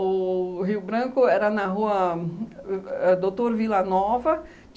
O Rio Branco era na rua ãh Doutor Vila Nova.